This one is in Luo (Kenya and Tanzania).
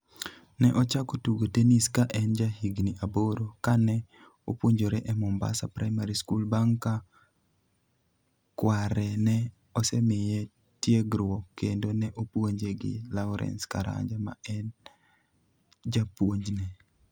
Ne ochako tugo tennis ka en jahigni aboro ka ne opuonjore e Mombasa Primary School bang' ka kware ne osemiye tiegruok kendo ne opuonje gi Lawrence Karanja ma ne en japuonjne.